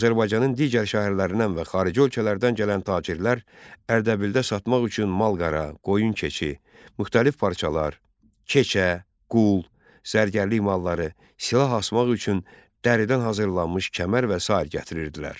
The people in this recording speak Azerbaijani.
Azərbaycanın digər şəhərlərindən və xarici ölkələrdən gələn tacirlər Ərdəbildə satmaq üçün mal-qara, qoyun-keçi, müxtəlif parçalar, keçə, qul, zərgərlik malları, silah asmaq üçün dəridən hazırlanmış kəmər və sair gətirirdilər.